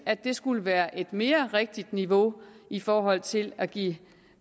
skulle være et mere rigtigt niveau i forhold til at give